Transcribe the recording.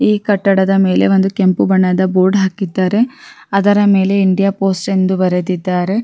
ಈ ಕಟ್ಟಡದ ಮೇಲೆ ಒಂದು ಕೆಂಪು ಬಣ್ಣದ ಬೋರ್ಡ್ ಹಾಕಿದ್ದಾರೆ ಅದರ ಮೇಲೆ ಇಂಡಿಯಾ ಪೋಸ್ಟ್ ಅಂತ ಬರೆದಿದ್ದಾರೆ-